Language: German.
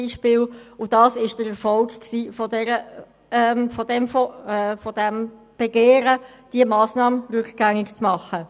Dies führte zum Erfolg des Begehrens, diese Massnahme rückgängig zu machen.